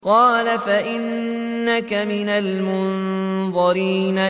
قَالَ فَإِنَّكَ مِنَ الْمُنظَرِينَ